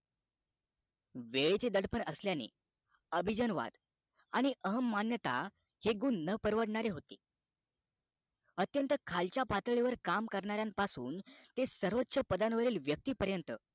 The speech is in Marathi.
वेळेचे दडपण असल्याने अभिजन वाद आणि अहम मान्यता हे गुण न परवडणारे होते अत्यंत खालच्या पातळीवर काम कारकरणा र्यांपासून तर सर्वोच पदावरील व्यक्ती परंत